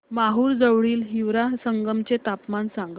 माहूर जवळील हिवरा संगम चे तापमान सांगा